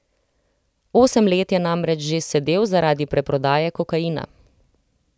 Osem let je namreč že sedel zaradi preprodaje kokaina.